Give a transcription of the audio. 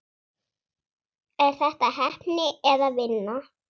Er þetta heppni eða vinna?